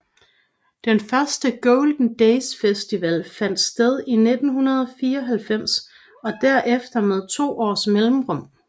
Den første Golden Days festival fandt sted i 1994 og derefter med to års mellemrum